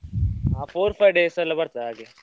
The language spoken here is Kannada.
ಆ four, five days ಎಲ್ಲ ಬರ್ತದೆ ಹಾಗೆ.